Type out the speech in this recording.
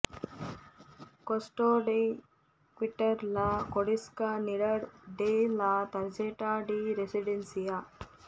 ಕೋಸ್ಟೋ ಡೆ ಕ್ವಿಟಾರ್ ಲಾ ಕೊಂಡಿಸ್ಕನಿಡಾಡ್ ಡೆ ಲಾ ತರ್ಜೆಟಾ ಡಿ ರೆಸಿಡೆನ್ಸಿಯಾ